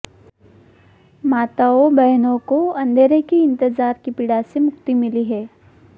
माताओं बहनों को अंधेरे के इंतजार की पीड़ा से मुक्ति मिली है